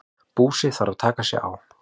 Búsi þarf að taka sig á.